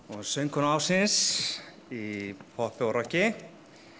söngkona ársins í poppi og rokki